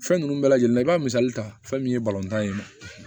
Fɛn ninnu bɛɛ lajɛlen i b'a misali ta fɛn min ye tan ye